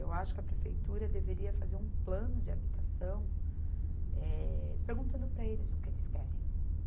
Eu acho que a prefeitura deveria fazer um plano de habitação, eh, perguntando para eles o que eles querem.